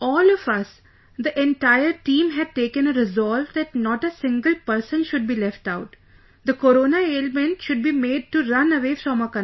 All of us...the entire team had taken a resolve that not a single person should be left out...the Corona ailment should be made to run away from our country